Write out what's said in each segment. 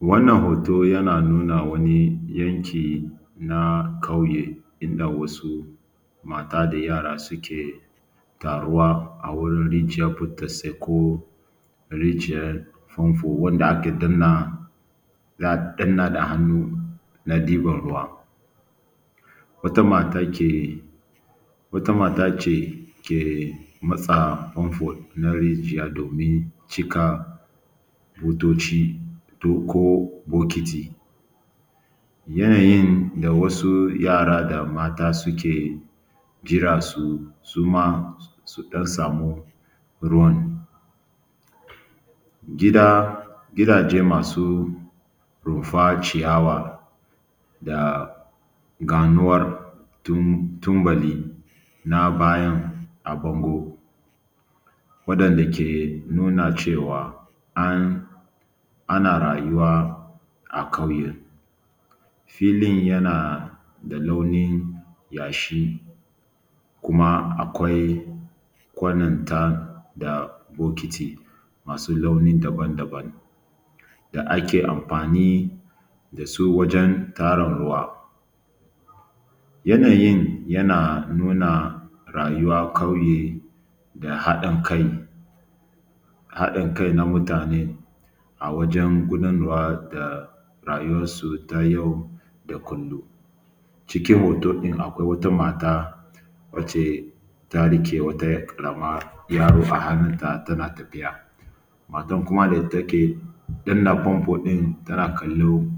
Wannan hoto yana nuna wani yanki na ƙauye inda wasu mata da yara suke taruwa a wurin rijiyar burtsatse ko rijiyar fanfo wanda ake danna za a danna da hannu na ɗiban ruwa. Wata mata ke, wata mata ce ke matsa fanfo na rijiya domin cika butoci ko bokiti, yayin da wasu yara da mata suke jira suma su ɗan samu ruwan. Gida gidaje masu rumfa ciyawa da ganuwar tubali na baya a bango waɗanda ke nuna cewa an ana rayuwa a ƙauye filin yana da launin yashi kuma akwai kwanon ta da bokiti masu launi daban-daban da ake amfani da su wajen tarin ruwa. Yanayin yana nuna rayuwan ƙauye da haɗin kai, haɗin kai na mutane a wajen gudanar wa da rayuwar su ta yau da kullum. Cikin hoton ɗin akwai wata mata wacce ta riƙe wata ƙarama yaro a hannun ta tana tafiya, matan kuma da take dannan famfo ɗin tana kallon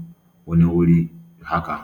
wani wuri.